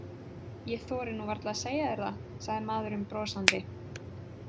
Ég þori nú varla að segja þér það, sagði maðurinn brosandi.